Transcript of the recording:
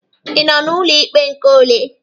Ị nọ n'ụlọ ikpe nke ole?